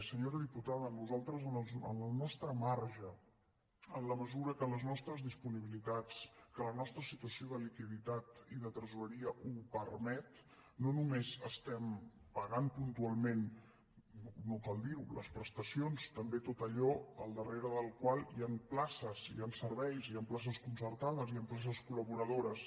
senyora diputada nosaltres en el nostre marge en la mesura que les nostres disponibilitats que la nostra situació de liquiditat i de tresoreria ho permet no només estem pagant puntualment no cal dirho les prestacions també tot allò al darrere del qual hi han places hi han serveis hi han places concertades hi han places col·laboradores